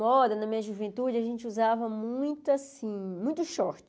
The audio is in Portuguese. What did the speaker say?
Moda, na minha juventude, a gente usava muito, assim, muito short.